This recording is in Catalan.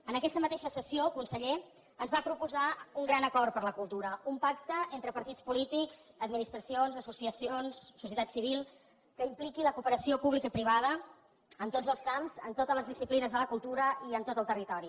en aquesta mateixa sessió conseller ens va proposar un gran acord per la cultura un pacte entre partits polítics administracions associacions societat civil que impliqui la cooperació pública i privada en tots els camps en totes les disciplines de la cultura i en tot el territori